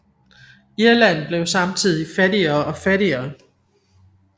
Irland blev samtidig fattigere og fattigere